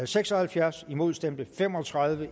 seks og halvfjerds imod stemte fem og tredive